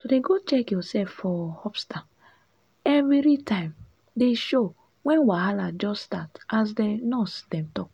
to dey go check yoursef for hospta everi time dey show wen wahala just start as di nurse dem talk